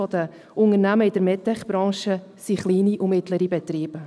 94 Prozent der Unternehmen in der Medtech-Branche sind kleine und mittlere Betriebe.